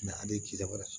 a de ye kisɛ wɛrɛ